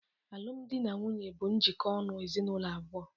Alum dị na nwunye bụ njikota ọnụ ezinụlọ abụọ.